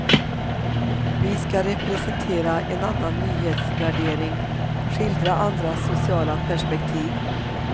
Vi ska representera en annan nyhetsvärdering, skildra andra sociala perspektiv.